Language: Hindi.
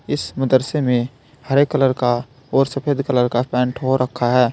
इस मदरसे में हरे कलर का और सफेद कलर का पेंट हो रखा है।